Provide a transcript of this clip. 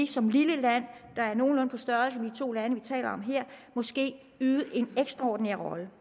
som et lille land der er nogenlunde på størrelse med de to lande vi taler om her måske spille en ekstraordinær rolle